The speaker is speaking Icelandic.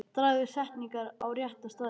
Dragðu setningar á rétta staði.